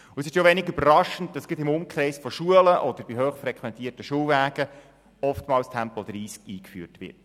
Und es ist wenig überraschend, dass gerade im Umkreis von Schulen oder bei hochfrequentierten Schulwegen oftmals Tempo 30 eingeführt wird.